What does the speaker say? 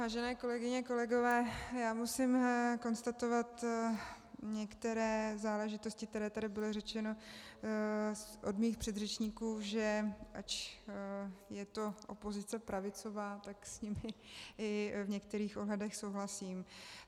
Vážené kolegyně, kolegové, já musím konstatovat některé záležitosti, které tady byly řečeny od mých předřečníků, že ač je to opozice pravicová, tak s nimi i v některých ohledech souhlasím.